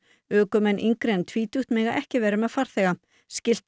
ökumenn yngri en tvítugt mega ekki vera með farþega skylt er